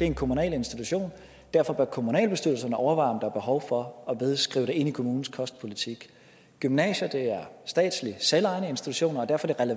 er en kommunal institution derfor bør kommunalbestyrelserne overveje om der er behov for at skrive det ind i kommunens kostpolitik gymnasierne er statslige selvejende institutioner og derfor er det